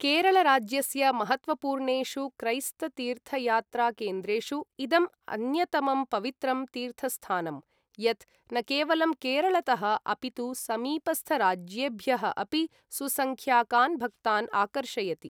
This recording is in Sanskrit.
केरळ राज्यस्य महत्त्वपूर्णेषु क्रैस्त तीर्थयात्राकेन्द्रेषु इदम् अन्यतमम् पवित्रं तीर्थस्थानं, यत् न केवलं केरळतः अपितु समीपस्थराज्येभ्यः अपि सुसंख्याकान् भक्तान् आकर्षयति।